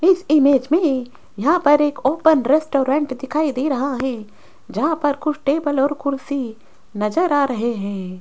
इस इमेज में यहां पर एक ओपन रेस्टोरेंट दिखाई दे रहा है जहां पर कुछ टेबल और कुर्सी नजर आ रहे हैं।